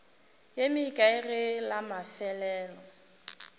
ye mekae ge la mafelelo